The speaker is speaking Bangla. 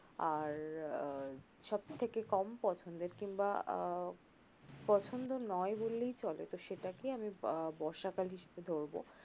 আর আহ সব থেকে কম পছন্দের কিংবা আহ পছন্দের নয় বললেই চলে তো সেটাকে আমি বর্ষা কাল হিসাবে ধরব